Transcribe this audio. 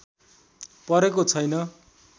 परेको छैन